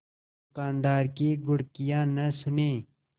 दुकानदार की घुड़कियाँ न सुने